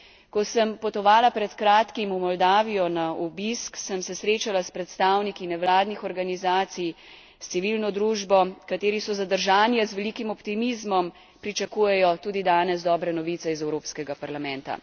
Ko sem potovala pred kratkim v Moldavijo na obisk, sem se srečala s predstavniki nevladnih organizacij, s civilno družbo, kateri so zadržani, a z velikim optimizmom pričakujejo tudi danes dobre novice iz Evropskega parlamenta.